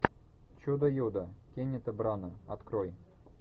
чудо юдо кеннета брана открой